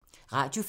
Radio 4